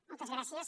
moltes gràcies